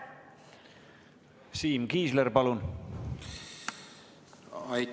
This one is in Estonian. Siim Kiisler, palun!